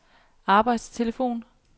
arbejdstelefon